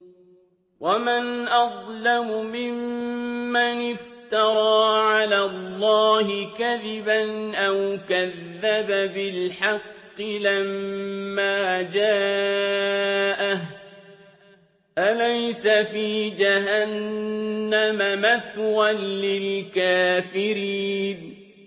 وَمَنْ أَظْلَمُ مِمَّنِ افْتَرَىٰ عَلَى اللَّهِ كَذِبًا أَوْ كَذَّبَ بِالْحَقِّ لَمَّا جَاءَهُ ۚ أَلَيْسَ فِي جَهَنَّمَ مَثْوًى لِّلْكَافِرِينَ